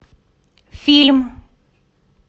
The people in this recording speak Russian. фильм